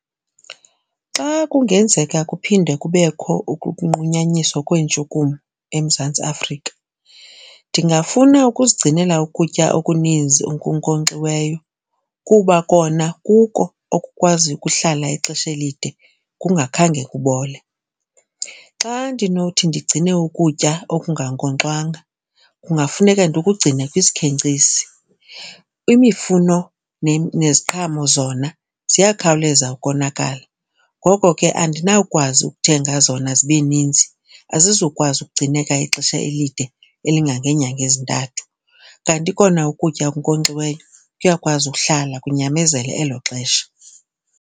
Xa kungenzeka kuphinde kubekho ukukunqunyanyiswa kweentshukumo eMzantsi Afrika ndingafuna ukuzigcinela ukutya okuninzi okunkonkxiweyo kuba kona kuko okukwazi ukuhlala ixesha elide kungakhange kubole. Xa ndinothi ndigcine ukutya okungankonkxwanga kungafuneka ndikugcine kwisikhenkcisi. Imifuno neziqhamo zona ziyakhawuleza ukonakala. Ngoko ke andinawukwazi ukuthenga zona zibe ninzi. Azizukwazi ukugcineka ixesha elide elingangeenyanga ezintathu. Kanti kona ukutya okunkonkxiweyo kuyakwazi ukuhlala kunyamezele elo xesha.